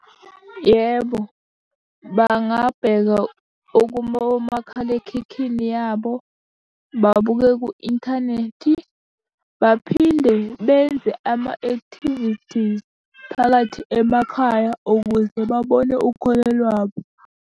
Yebo, bangabheka ukuba omakhalekhikhini yabo, babuke ku-inthanethi, baphinde benze ama-activities phakathi emakhaya ukuze babone ukholo lwabo.